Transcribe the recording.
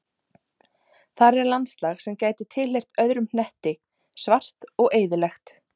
Þar er landslag sem gæti tilheyrt öðrum hnetti, svart og eyðilegt.